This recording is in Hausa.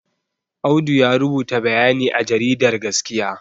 Audu ya rubuta bayani a jaridar gaskiya